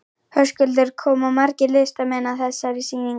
Höskuldur, koma margir listamenn að þessari sýningu?